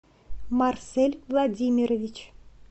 марсель владимирович